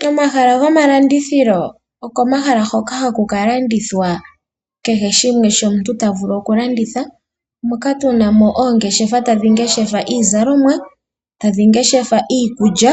Komahala gomalandithilo okomahala ngoka haku ka landithwa kehe shimwe shoka omuntu ta vulu okulanditha, moka tu na mo oongeshefa tadhi ngeshefa iizalomwa, tadhi ngeshefa iikulya,